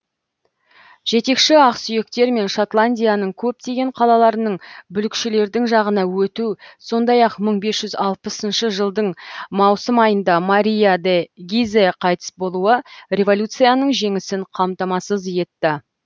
жетекші ақсүйектер мен шотландияның көптеген қалаларының бүлікшілердің жағына өту сондай ақ мың бес жүз алпысыншы жылдың маусым айында мария де гизе қайтыс болуы революцияның жеңісін қамтамасыз етті